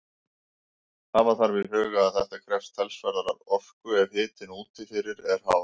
Hafa þarf í huga að þetta krefst talsverðrar orku ef hitinn úti fyrir er hár.